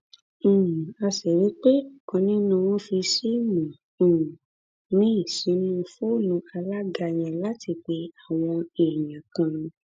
um a sì rí i pé ọkan nínú wọn fi síìmù um míín sínú fóònù alága yẹn láti pe àwọn èèyàn kan